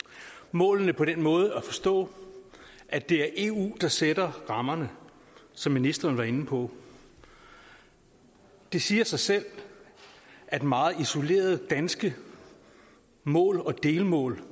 målene på den måde at forstå at det er eu der sætter rammerne som ministeren var inde på det siger sig selv at meget isolerede danske mål og delmål